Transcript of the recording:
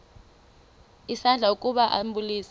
isandla ukuba ambulise